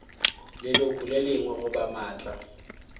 leloko le lengwe goba maatla